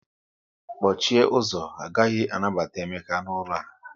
Kpọchie ụzọ, a gaghị anabata Emeka n'ụlọ a